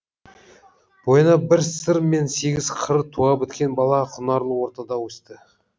бойына бір сыр мен сегіз қыр туа біткен бала құнарлы ортада өсті